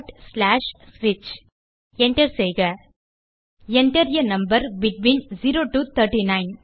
Enter செய்க Enter ஆ number between 0 to 39